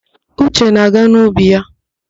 Uche na-aga n'ubi ya.